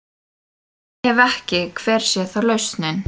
Ef ekki, hver sé þá lausnin?